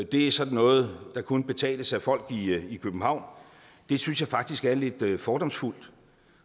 det er sådan noget der kun betales af folk i københavn det synes jeg faktisk er lidt fordomsfuldt